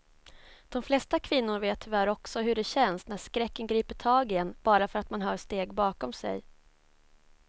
De flesta kvinnor vet tyvärr också hur det känns när skräcken griper tag i en bara för att man hör steg bakom sig.